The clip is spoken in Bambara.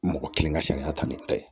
Mɔgɔ kelen ka sariya ta ni ta ye